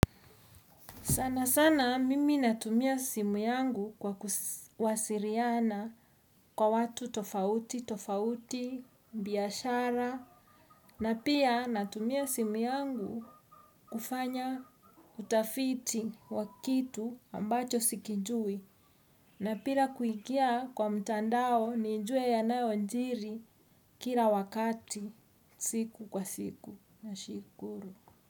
Sana sana, mimi natumia simu yangu kwa kuwasiliana na watu tofauti tofauti biashara. Na pia natumia simu yangu kufanya utafiti wa kitu ambacho sikijui na pia kuingia kwa mtandao nijue yanayojiri kila wakati siku kwa siku nashukuru.